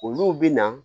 Olu bɛ na